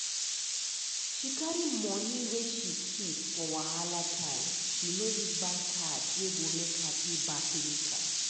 she carry money wey she keep for wahala time she no use bank card wey go make her pay back later.